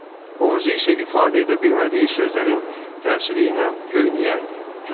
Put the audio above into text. Boğazı isə ifadə edə bilmədiyi sözlərin təsiri ilə göynəyərdi.